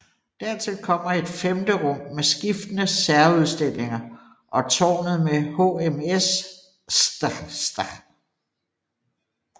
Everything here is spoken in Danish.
Dertil kommer et femte rum med skiftende særudstillinger og tårnet med HMS St